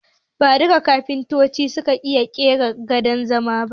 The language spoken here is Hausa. Ba duka kafintoci suka iya ƙera gadon zamani ba